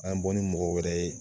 An ye bɔ ni mɔgɔ wɛrɛ ye